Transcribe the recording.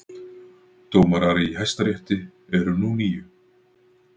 Dómarar í Hæstarétti eru nú níu